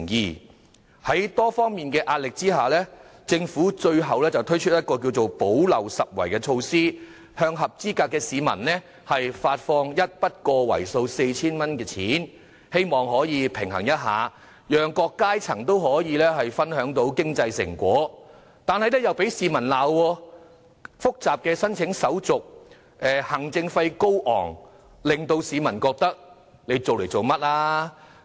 面對多方壓力下，政府最後推出一項補漏拾遺的措施，向合資格市民發放一筆為數 4,000 元的款項，讓各階層也可分享經濟成果，卻又被市民批評申請手續複雜、行政費高昂，有些市民更質疑政府這樣做的動機。